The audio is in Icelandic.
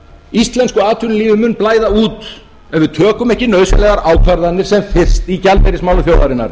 íslensku atvinnulífi mun blæða út ef við tökum ekki nauðsynlegar ákvarðanir sem fyrst í gjaldeyrismálum þjóðarinnar